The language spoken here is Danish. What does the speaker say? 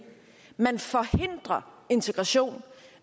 man forhindrer integration